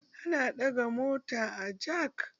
Ana ɗaga mota da jak